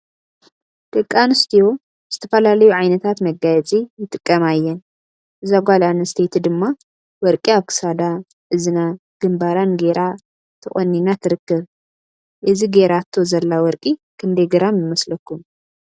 ደቂ አንስትዮ ዝተፈላለዩ ዓይነታት መጋየፂ ይጥቀማ እየን። እዛ ጋል አንስተየቲ ድማ ወርቂ አብ ክሳዳ ፤እዝና፤ ግንባራን ገይራ ተቆኒና ትርከብ ።እዚ ገይራቶ ዘላ ወርቂ ክንደይ ግራም ይመስለኩም?